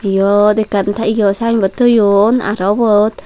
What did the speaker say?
yot ekkan teyo synbot toyon aro ubot.